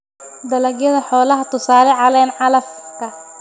Dalagyada xoolaha: tusaale, caleen calafka.